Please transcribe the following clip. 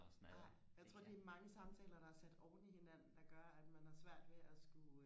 nej jeg tror det er mange samtaler der er sat oven i hinanden der gør at man har svært ved og skulle